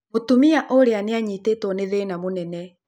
Mũtumia ũrĩa nĩ anyitĩtwo nĩ thĩna mũnene.